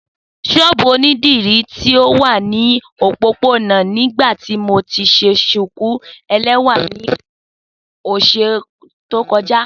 Sóóbú onidiri ti o wa ni opopona ni ibiti mo ti ṣe shuku ẹlẹwa ni ọsẹ to kọja.